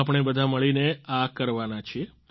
આપણે બધા મળીને આ કરવાના છીએ